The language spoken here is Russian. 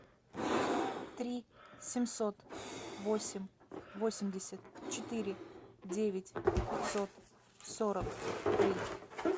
три семьсот восемь восемьдесят четыре девять пятьсот сорок три